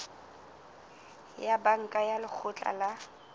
ya banka ya lekgotla la